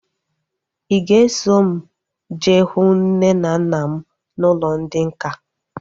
Ị ga-eso m jee hụ nne na nna m n'ụlọ ndị nká?